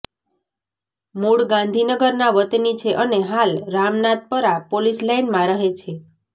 મુળ ગાંધીનગરના વતની છે અને હાલ રામનાથપરા પોલીસ લાઇનમાં રહે છે